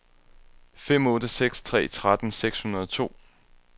fem otte seks tre tretten seks hundrede og to